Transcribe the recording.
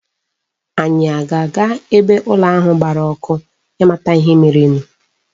Anyị a ga-aga ebe ụlọ ahụ gbara ọkụ ịmata ihe merenụ?